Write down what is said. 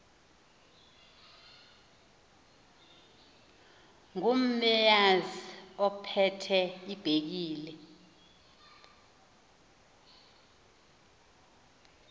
ngumeazi ophethe ibhekile